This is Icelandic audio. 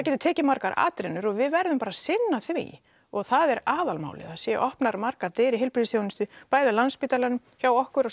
tekur margar atrennur og við verðum bara að sinna því og það er aðalmálið að það séu opnaðar margar dyr í heilbrigðisþjónustunni bæði á Landspítalanum hjá okkur á